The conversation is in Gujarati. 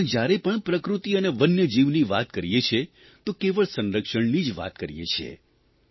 આપણે જ્યારે પણ પ્રકૃતિ અને વન્ય જીવી વાત કરીયે છીએ તો કેવળ સંરક્ષણની જ વાત કરીએ છીએ